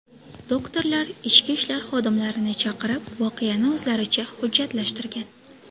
Doktorlar ichki ishlar xodimlarini chaqirib voqeani o‘zlaricha hujjatlashtirgan.